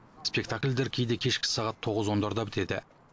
спектакльдер кейде кешкі сағат тоғыз ондарда бітеді